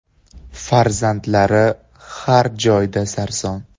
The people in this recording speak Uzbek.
Farzandlari har joyda sarson.